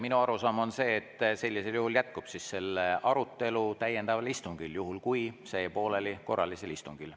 Minu arusaam on see, et sellisel juhul jätkub selle arutelu täiendaval istungil, kuigi see jäi pooleli korralisel istungil.